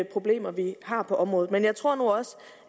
problemer vi har på området men jeg tror nu også